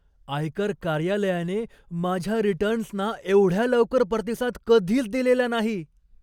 आयकर कार्यालयाने माझ्या रिटर्न्सना एवढ्या लवकर प्रतिसाद कधीच दिलेला नाही.